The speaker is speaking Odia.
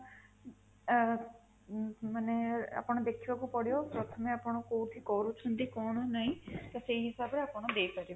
ଅଂ ମାନେ ଆପଣ ଦେଖିବାକୁ ପଡିବ ପ୍ରଥମେ ଆପଣ କୋଉଠି କରୁଛନ୍ତି କଣ ନାହିଁ ତ ସେହି ହିସାବରେ ଆପଣ ଦେଇପାରିବେ